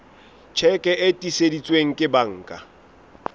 tjheke e tiiseditsweng ke banka